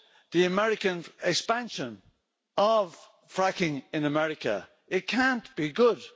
the American expansion of fracking in America. It can't be good.